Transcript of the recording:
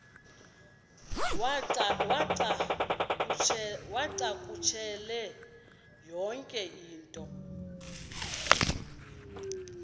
uwacakushele yonke into